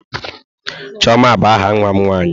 Chioma bụ aha nwa m nwaanyị.